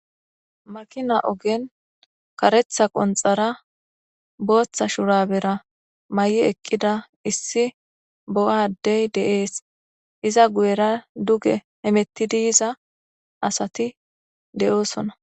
Makina ogen karetha qonxaranne bootha shurabera mayida eqqida issi bo'a addey de'ees. Iza guyera duge hametidi yiza asati de'oosona.